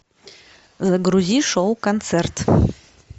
загрузи шоу концерт